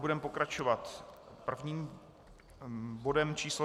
Budeme pokračovat prvním bodem číslo